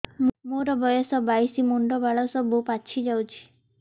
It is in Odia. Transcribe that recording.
ମୋର ବୟସ ବାଇଶି ମୁଣ୍ଡ ବାଳ ସବୁ ପାଛି ଯାଉଛି